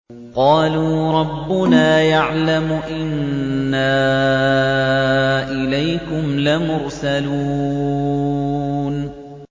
قَالُوا رَبُّنَا يَعْلَمُ إِنَّا إِلَيْكُمْ لَمُرْسَلُونَ